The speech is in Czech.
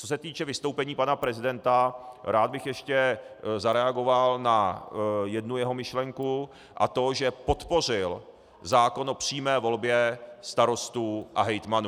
Co se týče vystoupení pana prezidenta, rád bych ještě zareagoval na jednu jeho myšlenku, a to že podpořil zákon o přímé volbě starostů a hejtmanů.